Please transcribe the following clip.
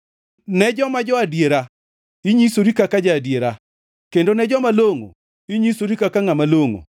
Ne joma jo-adiera, inyisori kaka ja-adiera, kendo ne joma longʼo, inyisori kaka ngʼama longʼo,